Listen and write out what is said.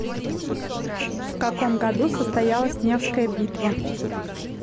в каком году состоялась невская битва